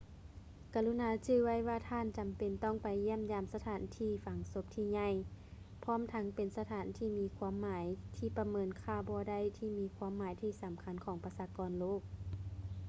ກະລຸນາຈື່ໄວ້ວ່າທ່ານຈຳເປັນຕ້ອງໄປຢ້ຽມຢາມສະຖານທີ່ຝັງສົບທີ່ໃຫຍ່ ພ້ອມທັງເປັນສະຖານທີ່ມີຄວາມໝາຍທີ່ປະເມີນຄ່າບໍ່ໄດ້ທີ່ມີຄວາມໝາຍທີ່ສຳຄັນຂອງປະຊາກອນໂລກ